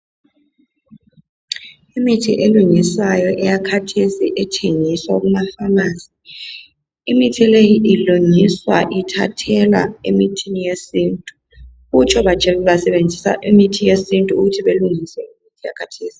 Imithi elungiswayo eyakhathesi ethengiswa kumaPharmacy. Imithi leyi ilungiswa ithathelwa emithini yesintu. Kutsho basebenzisa imithi yesintu ukuthi balungise imithi yakhathesi.